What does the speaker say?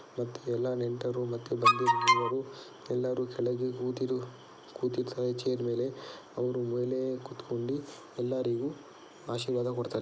ಎಲ್ಲ ನೆಂಟರು ಮತ್ತೆ ಬಂಧು ಮಿತ್ರರು ಎಲ್ಲಾರು ಕೆಳಗೆ ಕೂತಿರು ಕೂತಿರ್ತಾರೆ ಚೇರ್ ಮೇಲೆ ಅವರು ಮೇಲೆ ಕೂತುಕೊಂಡು ಎಲ್ಲರಿಗೂ ಆಶೀರ್ವಾದ ಕೊಡ್ತಾರೆ --